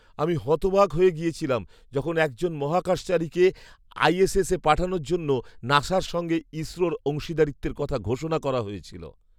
আমি হতবাক হয়ে গিয়েছিলাম যখন একজন মহাকাশচারীকে আইএসএসে পাঠানোর জন্য নাসার সঙ্গে ইসরোর অংশীদারিত্বের কথা ঘোষণা করা হয়েছিল!